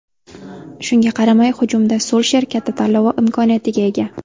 Shunga qaramay, hujumda Sulsher katta tanlovi imkoniyatiga ega.